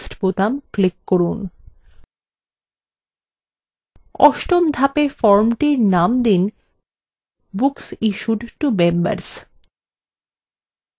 অষ্টম ধাপে formটির name দিন books issued to members